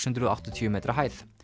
hundruð og áttatíu metra hæð